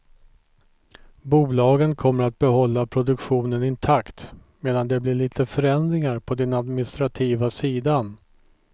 Bolagen kommer att behålla produktionen intakt, medan det blir lite förändringar på den administrativa sidan.